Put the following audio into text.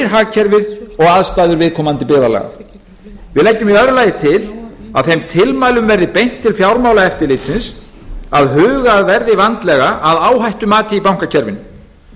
hagkerfið og aðstæður viðkomandi byggðarlaga annars að þeim tilmælum verði beint til fjármálaeftirlitsins að hugað verði vandlega að áhættumati í bankakerfinu